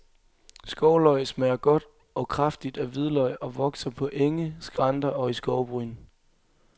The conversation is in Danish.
Skovløg smager godt og kraftigt af hvidløg og vokser på enge, skrænter og i skovbryn.